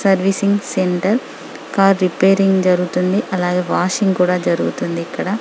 Servicing centre car repairing జరుగుతుంది అలాగే washing కూడా జరుగుతుంది --.